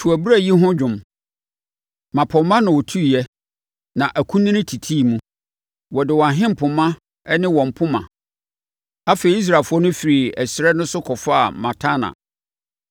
To abura yi ho dwom, mmapɔmma na wɔtuiɛ; na akunini titii mu wɔde wɔn ahempoma ne wɔn poma.” Afei, Israelfoɔ no firii ɛserɛ no so kɔfaa Matana,